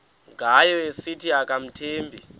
ngayo esithi akamthembi